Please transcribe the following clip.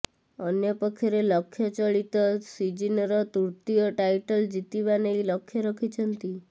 ଅନ୍ୟ ପକ୍ଷରେ ଲକ୍ଷ ଚଳିତ ସିଜିନର ତୃତୀୟ ଟାଇଟଲ ଜିତିବା ନେଇ ଲକ୍ଷ ରଖିଛନ୍ତି